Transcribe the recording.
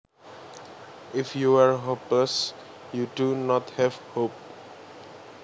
If you are hopeless you do not have hope